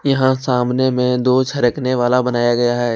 यहां सामने में दो सरकने वाला बनाया गया है।